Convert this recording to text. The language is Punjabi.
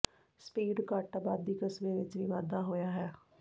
ਸਪੀਡ ਘੱਟ ਆਬਾਦੀ ਕਸਬੇ ਵਿਚ ਵੀ ਵਾਧਾ ਹੋਇਆ ਹੈ